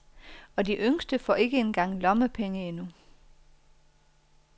Og de yngste får ikke engang lommepenge endnu.